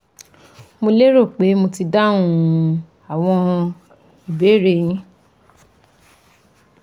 Mo lérò pé mo ti dáhùn àwọn ìbéèrè e yín